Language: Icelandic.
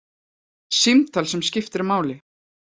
Símtal sem skiptir máli